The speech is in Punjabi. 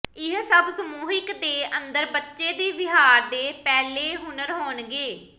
ਇਹ ਸਭ ਸਮੂਹਿਕ ਦੇ ਅੰਦਰ ਬੱਚੇ ਦੇ ਵਿਹਾਰ ਦੇ ਪਹਿਲੇ ਹੁਨਰ ਹੋਣਗੇ